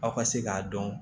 Aw ka se k'a dɔn